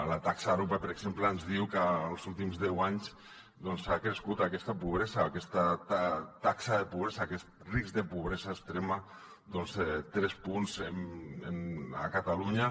la taxa arope per exemple ens diu que els últims deu anys ha crescut aquesta taxa de pobresa aquest risc de pobresa extrema doncs tres punts a catalunya